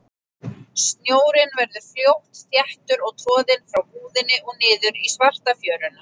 Snjórinn verður fljótt þéttur og troðinn frá búðinni og niður í svarta fjöruna.